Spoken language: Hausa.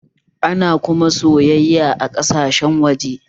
Ana kuma sayayya a ƙasashen waje